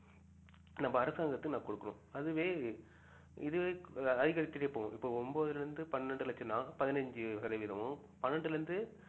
நம்ப அரசாங்கத்திற்கு நான் குடுக்கணும் அதுவே இதுவே அதிகரிச்சிட்டே போகும் இப்ப ஒன்பதுல இருந்து பன்னெண்டு லட்சம்னா பதினெஞ்சி சதவீதமும் பன்னெண்டுல இருந்து